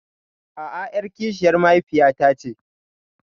A'a, ƴar kishiyar mahaifiyata ce.